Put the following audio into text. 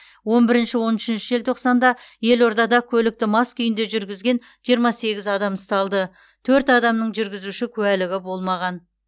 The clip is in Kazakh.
он бірінші он үшінші желтоқсанда елордада көлікті мас күйінде жүргізген жиырма сегіз адам ұсталды төрт адамның жүргізуші куәлігі болмаған